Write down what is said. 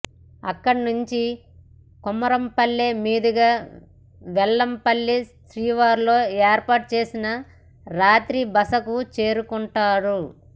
అక్కడి నుంచి కుమ్మరాంపల్లె మీదుగా వేంపల్లె శివారులో ఏర్పాటు చేసిన రాత్రి బసకు చేరుకుంటారు